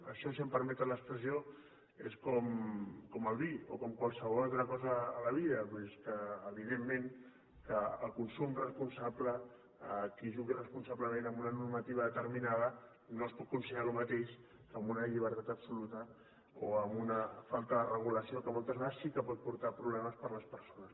això si em permeten l’expressió és com el vi o com qualsevol altra cosa a la vida doncs que evidentment el consum responsable qui jugui responsablement amb una normativa determinada no es pot considerar el mateix que amb una llibertat absoluta o amb una falta de regulació que moltes vegades sí que pot portar problemes per a les persones